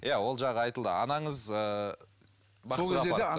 иә ол жағы айтылды анаңыз